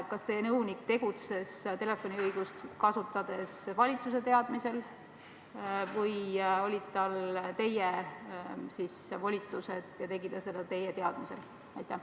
Kas teie nõunik tegutses telefoniõigust kasutades valitsuse teadmisel või olid tal teie volitused ja ta tegi seda teie teadmisel?